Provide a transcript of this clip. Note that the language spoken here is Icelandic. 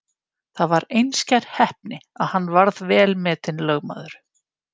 Það var einskær heppni að hann varð vel metinn lögmaður.